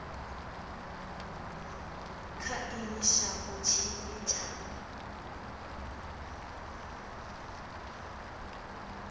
kha ino shango tshine tsha